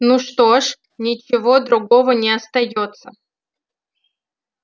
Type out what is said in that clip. ну что ж ничего другого не остаётся